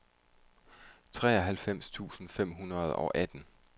treoghalvfems tusind fem hundrede og atten